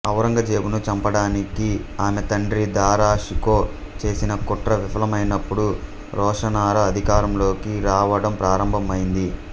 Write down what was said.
ఔరంగజేబును చంపడానికి ఆమె తండ్రి దారా షికో చేసిన కుట్ర విఫలమైనప్పుడు రోషనారా అధికారంలోకి రావడం ప్రారంభమైంది